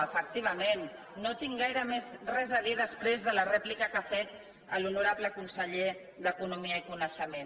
ment no tinc gaire res més a dir després de la rèplica que ha fet l’honorable conseller d’economia i coneixement